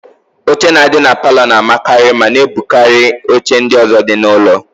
Oche na-adị na palọ na-amakarị ma na-ebukarị oche ndị ọ̀zọ́ dị n'ụlọ.